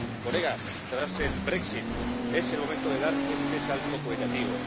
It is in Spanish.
Colegas, tras el brexit es el momento de dar este salto cualitativo.